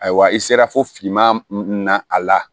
Ayiwa i sera fo finman na a la